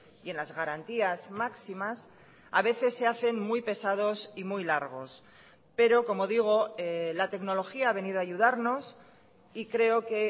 y en las garantías máximas a veces se hacen muy pesados y muy largos pero como digo la tecnología ha venido a ayudarnos y creo que